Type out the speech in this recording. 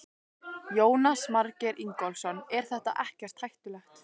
Jónas Margeir Ingólfsson: Er þetta ekkert hættulegt?